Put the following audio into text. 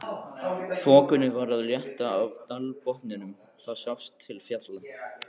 Þokunni var að létta af dalbotninum, það sást til fjalla.